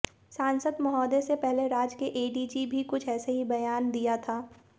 सांसद मोहदय से पहले राज्य के एडीजी भी कुछ ऐसा ही बयान दिया था